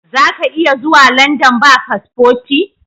Zaka iya zuwa London ba paspoti?